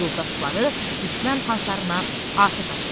Yoldaşları düşmən tanklarına atəş açırlar.